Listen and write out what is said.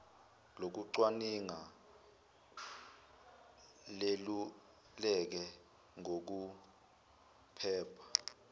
lokucwaninga leluleke ngokuphepha